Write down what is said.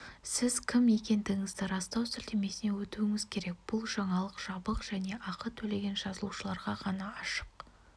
сіз кім екендігіңізді растау сілтемесіне өтуіңіз керек бұл жаңалық жабық және ақы төлеген жазылушыларға ғана ашық